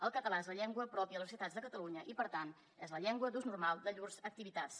el català és la llengua pròpia a les universitats de catalunya i per tant és la llengua d’ús normal de llurs activitats